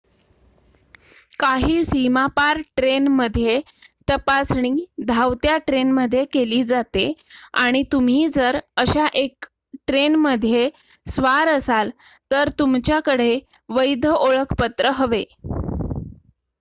काही सीमापार ट्रेन मध्ये तपासणी धावत्या ट्रेन मध्ये केली जाते आणि तुम्ही जर अशा 1 ट्रेन मध्ये स्वार असाल तर तुमच्या कडे वैध ओळखपत्र हवे